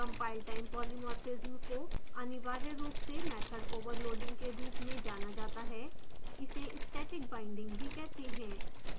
compiletime polymorphism को अनिवार्य रूप से method overloading के रूप में जाना जाता है इसे static binding भी कहते हैं